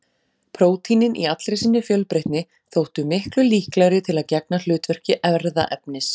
Prótínin í allri sinni fjölbreytni þóttu miklu líklegri til að gegna hlutverki erfðaefnis.